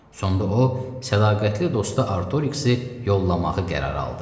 Sonda o, sədaqətli dostu Artoriksi yollamağı qərara aldı.